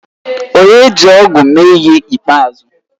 Onye ji ọ̀gu eme ihe ikpeazụ?